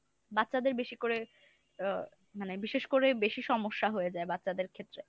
বাচ্চাদের বেশি করে আহ মানে বিশেষ করে বেশি সমস্যা হয়ে যায় বাচ্চাদের ক্ষেত্রে।